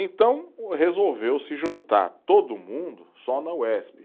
Então resolveu-se juntar todo mundo só na Uesp.